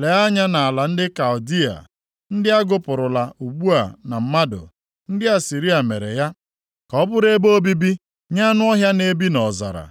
Lee anya nʼala ndị Kaldịa, ndị a gụpụrụla ugbu a na mmadụ! Ndị Asịrịa mere ya ka ọ bụrụ ebe obibi nye anụ ọhịa na-ebi nʼọzara.